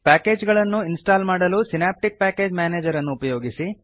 package ಗಳನ್ನು install ಮಾಡಲು Synaptic package manager ಅನ್ನು ಉಪಯೋಗಿಸಿ